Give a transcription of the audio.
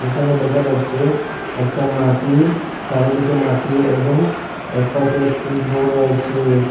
এখানে দেখা যাচ্ছে একটা মাটির চারিদিকে মাটি এবং এক পাশে একটি ঘর রয়েছে।